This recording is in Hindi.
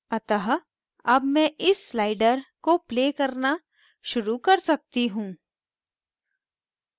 अतः अब मैं इस sliders को play करना शुरू कर सकती हूँ